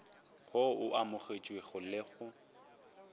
wo o amogetšwego le go